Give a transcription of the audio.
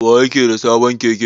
Wa yake da sabon Keke?